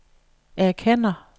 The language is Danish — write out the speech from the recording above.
erkender